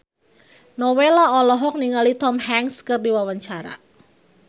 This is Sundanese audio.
Nowela olohok ningali Tom Hanks keur diwawancara